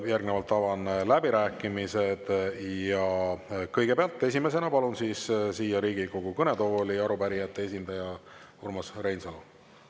Järgnevalt avan läbirääkimised ja esimesena palun siia Riigikogu kõnetooli arupärijate esindaja Urmas Reinsalu.